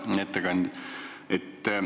Hea ettekandja!